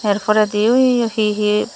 er poredi ui he he.